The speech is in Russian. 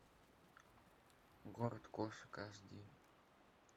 город кошек аш ди